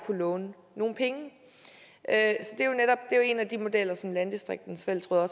kunne låne nogle penge en af de modeller som landdistrikternes fællesråd har